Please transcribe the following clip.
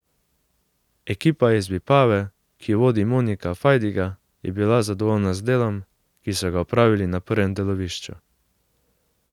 Ekipa iz Vipave, ki jo vodi Monika Fajdiga, je bila zadovoljna z delom, ki so ga opravili na prvem delovišču.